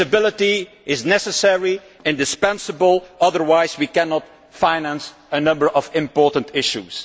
flexibility is necessary, indispensable, otherwise we cannot finance a number of important issues.